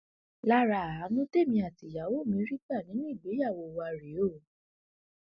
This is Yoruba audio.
lára àánú tèmi àtìyàwó mi rí gbà nínú ìgbéyàwó wàá rèé o